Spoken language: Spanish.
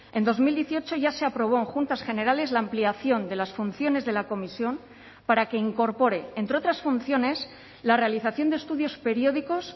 en dos mil dieciocho ya se aprobó en juntas generales la ampliación de las funciones de la comisión para que incorpore entre otras funciones la realización de estudios periódicos